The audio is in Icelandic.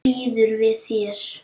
Býður við þér.